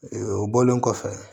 Ee o bɔlen kɔfɛ